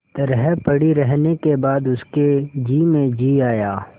तरह पड़ी रहने के बाद उसके जी में जी आया